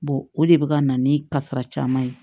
o de bɛ ka na ni kasara caman ye